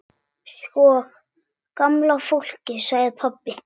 Sko gamla fólkið sagði pabbi.